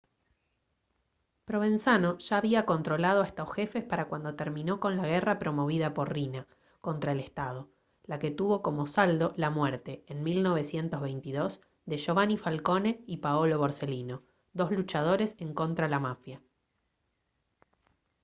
provenzano ya había controlado a estos jefes para cuando terminó con la guerra promovida por riina contra el estado la que tuvo como saldo la muerte en 1922 de giovanni falcone y paolo borsellino dos luchadores en contra la mafia»